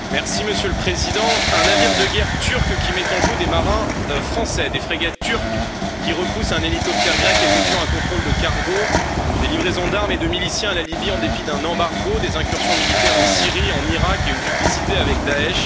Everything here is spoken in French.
Monsieur le Président, un navire de guerre turc qui met en joue des marins français, des frégates turques qui repoussent un hélicoptère grec effectuant un contrôle de cargo, des livraisons d'armes et de miliciens à la Libye en dépit d'un embargo, des incursions militaires en Syrie, en Irak et une duplicité avec Daech...